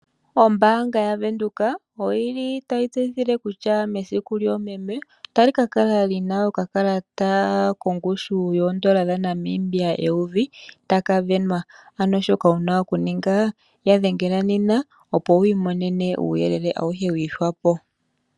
Ombaanga ya Windhoek oyili tayi tseyithile kutya nesiku lyoomeme otali kakala lina okakalata kongushu yoondola dhaNamibia eyovi limwe taka venwa. Anoshika wuna okuninga yadhengela nena opo wumone uuyelele wiihwapo.